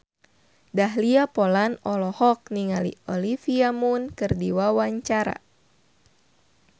Dahlia Poland olohok ningali Olivia Munn keur diwawancara